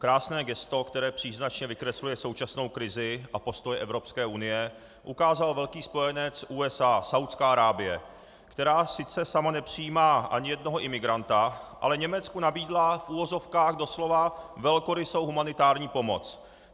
Krásné gesto, které příznačně vykresluje současnou krizi a postoj Evropské unie, ukázal velký spojenec USA Saúdská Arábie, která sice sama nepřijímá ani jednoho imigranta, ale Německu nabídla v uvozovkách doslova velkorysou humanitární pomoc.